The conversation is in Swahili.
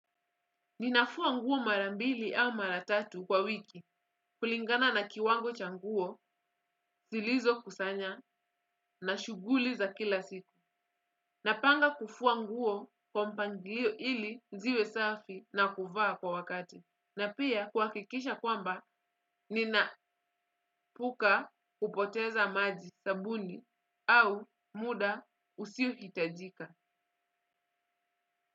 Ninafua nguo marambili au maratatu kwa wiki kulingana na kiwango cha nguo zilizo kusanya na shughuli za kila siku. Napanga kufua nguo kwa mpangilio ili ziwe safi na kuvaa kwa wakati. Na pia kuhakikisha kwamba nina puka kupoteza maji sabuni au muda usiohitajika.